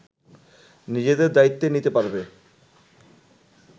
নিজেদের দায়িত্ব নিতে পারবে